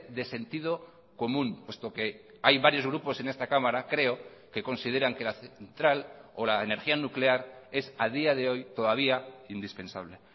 de sentido común puesto que hay varios grupos en esta cámara creo que consideran que la central o la energía nuclear es a día de hoy todavía indispensable